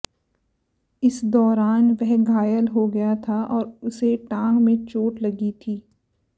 इस दौरान वह घायल हो गया था और उसे टांग में चोट लगी थी